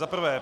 Za prvé.